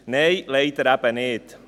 Nein, leider nicht.